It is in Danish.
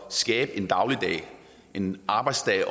skabe en dagligdag en arbejdsdag